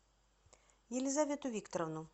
елизавету викторовну